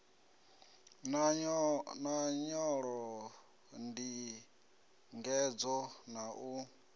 na nyolo ndingedzo na u